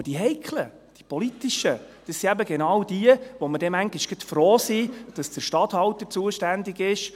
Aber die heiklen, politischen Geschäfte sind genau jene, bei denen wir manchmal froh sind, dass der Statthalter zuständig ist.